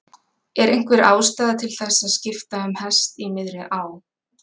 Er einhver ástæða til þess að skipta um hest í miðri á?